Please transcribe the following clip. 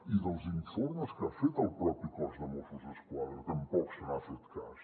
i dels informes que ha fet el propi cos de mossos d’esquadra tampoc se n’ha fet cas